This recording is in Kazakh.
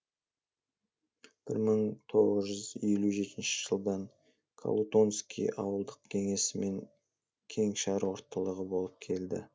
бір мың тоғыз жүз елу жетінші жылдан колутонский ауылдық кеңесі мен кеңшар орталығы болып келді